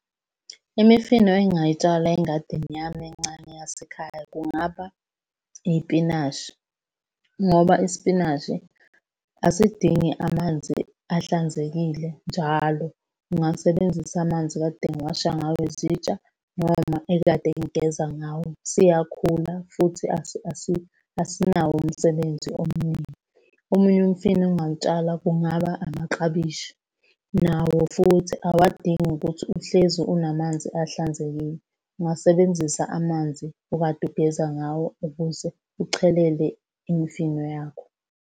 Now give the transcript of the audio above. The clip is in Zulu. Imifino engingayitshala engadini yami encane yasekhaya kungaba iy'pinashi, ngoba isipinashi asidingi amanzi ahlanzekile njalo. Ungasebenzisa amanzi ekade ngiwasha ngawo izitsha noma ekade ngigeza ngawo. Siyakhula futhi asinawo umsebenzi omningi. Omunye umfino engingawutshala kungaba amaklabishi. Nawo futhi awadingi ukuthi uhlezi unamanzi ahlanzekile. Ungasebenzisa amanzi okade ugeza ngawo ukuze uchelele imifino yakho.